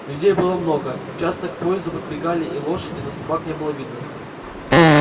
людей было много часто к поезду подбегали и лошади но собак не было видно